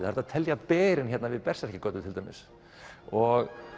er hægt að telja berin við götuna til dæmis og